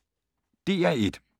DR1